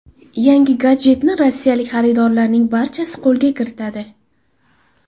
Yangi gadjetni rossiyalik xaridorlarning barchasi qo‘lga kiritadi.